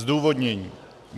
Zdůvodnění.